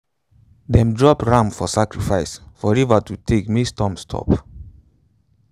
them drop ram for sacrifice for river to take make storm stop.